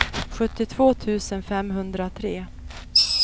sjuttiotvå tusen femhundratre